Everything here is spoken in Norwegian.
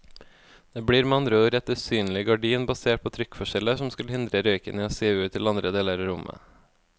Det blir med andre ord et usynlig gardin basert på trykkforskjeller som skal hindre røyken i å sive ut til andre deler av rommet.